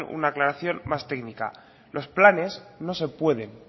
una aclaración más técnica los planes no se pueden